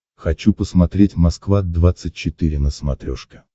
хочу посмотреть москва двадцать четыре на смотрешке